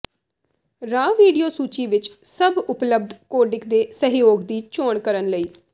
raw video ਸੂਚੀ ਵਿੱਚ ਸਭ ਉਪਲੱਬਧ ਕੋਡਿਕ ਦੇ ਸਹਿਯੋਗ ਦੀ ਚੋਣ ਕਰਨ ਲਈ